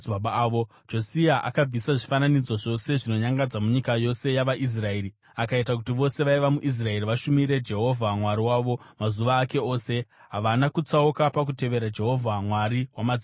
Josia akabvisa zvifananidzo zvose zvinonyangadza munyika yose yavaIsraeri akaita kuti vose vaiva muIsraeri vashumire Jehovha Mwari wavo. Mazuva ake ose, havana kutsauka pakutevera Jehovha Mwari wamadzibaba avo.